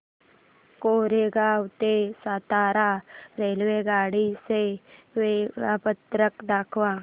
कोरेगाव ते सातारा रेल्वेगाडी चे वेळापत्रक दाखव